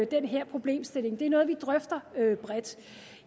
den her problemstilling det er noget vi drøfter bredt